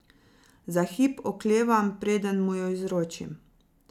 Za hip oklevam, preden mu jo izročim.